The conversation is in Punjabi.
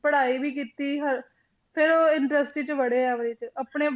ਪੜ੍ਹਾਈ ਵੀ ਕੀਤੀ ਹ~ ਫਿਰ ਉਹ industry 'ਚ ਵੜੇ ਆ ਇਹਦੇ 'ਚ ਆਪਣੇ